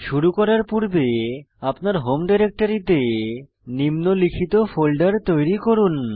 শুরু করার পূর্বে আপনার হোম ডিরেক্টরীতে নিম্নলিখিত ফোল্ডার তৈরি করুন